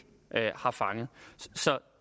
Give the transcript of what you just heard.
har fanget